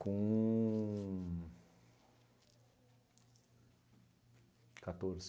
Com... catorze